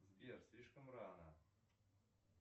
сбер слишком рано